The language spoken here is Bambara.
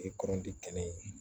kɔrɔnti kɛnɛ ye